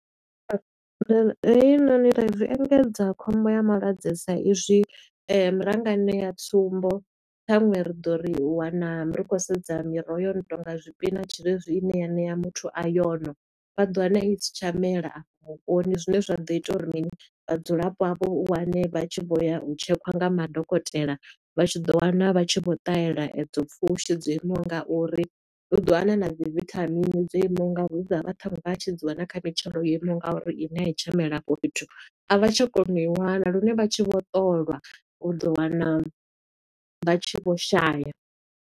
Heinoni thaidzo, zwi engedza khombo ya malwadze sa i zwi, ra nga ṋeya tsumbo khaṅwe ri ḓo ri u wana ri khou sedza miroho yo no tonga zwipinatshi zwe zwi ine ya ṋea muthu iron. Vha ḓo wana i si tsha mela afho vhuponi, zwine zwa ḓo ita uri mini Vhadzulapo avho u wane vha tshi vho ya u tshekhiwa nga madokotela, vha tshi ḓo wana vha tshi vho ṱahela edzo pfushi dzo imaho nga uri. U ḓo wana na dzi vithamini dzo imaho nga uri, hu dza vha tshi dzi wana kha mitshelo yo imaho nga uri, i ne a i tsha mela afho fhethu. A vha tsha kona u i wana lune vha tshi vho ṱolwa, u ḓo wana vha tshi vho shaya.